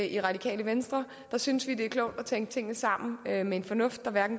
i radikale venstre der synes vi det er klogt at tænke tingene sammen med med en fornuft der